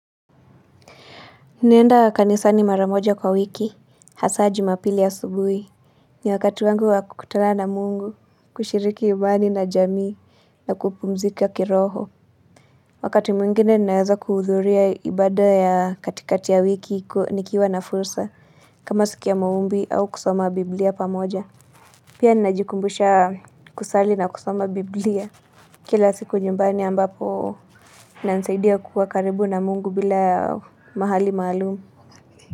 Naenda kanisani mara moja kwa wiki hasa Jumapili asubuhi. Ni wakati wangu wa kukutana na mungu, kushiriki imani na jamii na kupumzika kiroho. Wakati mwingine ninaweza kuhudhuria ibada ya katikati ya wiki nikiwa na fursa, kama siku ya maombi au kusoma biblia pamoja. Pia ninajikumbusha kusali na kusoma biblia. Kila siku nyumbani ambapo inansaidia kuwa karibu na mungu bila mahali maalum.